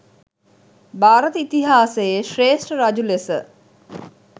භාරත ඉතිහාසයේ ශ්‍රේෂ්ඨ රජු ලෙස